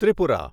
Tripura